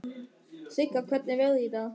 Sigga, hvernig er veðrið í dag?